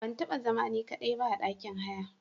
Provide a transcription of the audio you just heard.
Ban taba zama ni ka daiba a ɗakin haya.